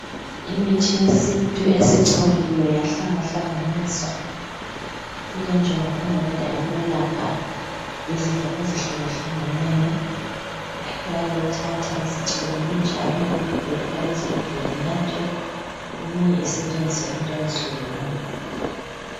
imithi yesintu esicoliwe yahlanganiswa ilenjongo eyodwa yokwelapha izifo ezihlukeneyo bayayithatha isicoliwe injalo bayifake ezigubhini inathwe eminye isetshenziswe entweni ezihlukeneyo.